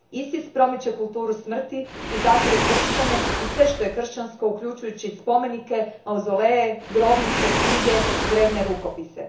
ISIS promiče kulturu smrti i zatire kršćane i sve što je kršćansko, uključujući i spomenike, mauzoleje, grobnice, knjige, drvene rukopise.